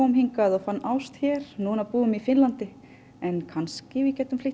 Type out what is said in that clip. hingað og fann ást hér núna búum í Finnlandi en kannski við getum